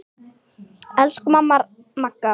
Elsku amma Magga.